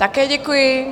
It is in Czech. Také děkuji.